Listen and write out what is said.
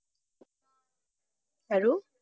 আৰু?